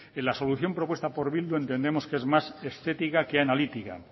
en la solución propuesta por bildu entendemos que es más estética que analítica